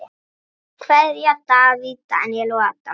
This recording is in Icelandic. Kveðja: Davíð, Daníel og Adam.